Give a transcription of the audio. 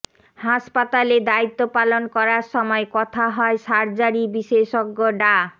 হাসপাতালে দায়িত্ব পালন করার সময় কথা হয় সার্জারি বিশেজ্ঞ ডা